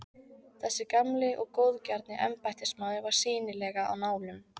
Þessi gamli og góðgjarni embættismaður var sýnilega á nálum.